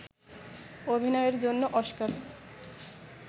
অভিনয়ের জন্য অস্কার